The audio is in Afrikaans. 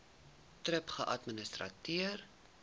thrip geadministreer